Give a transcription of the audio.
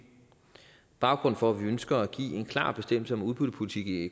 baggrunden for at vi ønsker at give en klar bestemmelse om udbyttepolitik i